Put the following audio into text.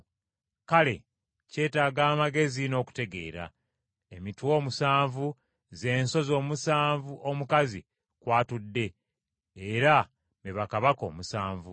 “Kale kyetaaga amagezi n’okutegeera. Emitwe omusanvu ze nsozi omusanvu omukazi kw’atudde, era be bakabaka omusanvu.